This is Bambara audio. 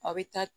A bɛ taa